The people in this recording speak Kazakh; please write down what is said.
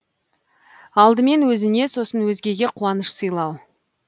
алдымен өзіне сосын өзгеге қуаныш сыйлау